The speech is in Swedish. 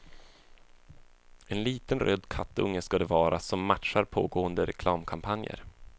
En liten röd kattunge ska det vara, som matchar pågående reklamkampanjer.